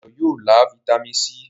Dayo yóò lá Vitamin c.